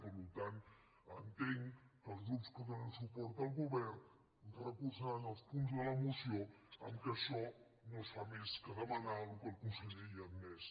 per tant entenc que els grups que donen suport al go·vern recolzaran els punts de la moció en què no es fa més que demanar el que conseller ja ha admès